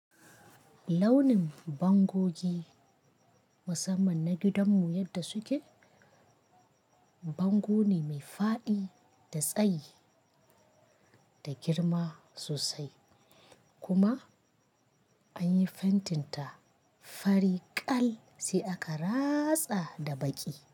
Launin bangogi musamman na gidanmu yadda suke? Bango ne mai faɗi da tsayi da girma sosai kuma anyi fantinta fari kal sai aka ratsa da baƙi.